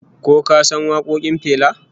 Ko ka san wakokin Fela?